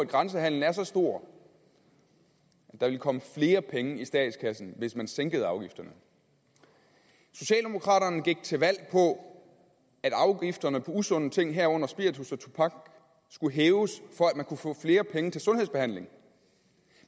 grænsehandelen er så stor at der ville komme flere penge i statskassen hvis man sænkede afgifterne socialdemokraterne gik til valg på at afgifterne på usunde ting herunder spiritus og tobak skulle hæves for at man kunne få flere penge til sundhedsbehandling